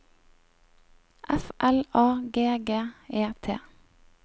F L A G G E T